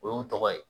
O y'u tɔgɔ ye